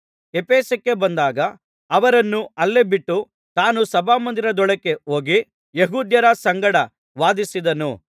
ಎಫೆಸಕ್ಕೆ ಬಂದಾಗ ಅವರನ್ನು ಅಲ್ಲೇ ಬಿಟ್ಟು ತಾನು ಸಭಾಮಂದಿರದೊಳಕ್ಕೆ ಹೋಗಿ ಯೆಹೂದ್ಯರ ಸಂಗಡ ವಾದಿಸಿದನು